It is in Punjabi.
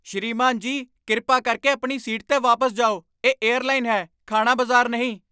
ਸ੍ਰੀਮਾਨ ਜੀ, ਕਿਰਪਾ ਕਰਕੇ ਆਪਣੀ ਸੀਟ 'ਤੇ ਵਾਪਸ ਜਾਓ। ਇਹ ਏਅਰਲਾਈਨ ਹੈ, ਖਾਣਾ ਬਜ਼ਾਰ ਨਹੀਂ!